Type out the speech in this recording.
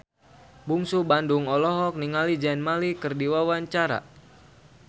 Bungsu Bandung olohok ningali Zayn Malik keur diwawancara